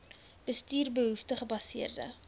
bestuur behoefte gebaseerde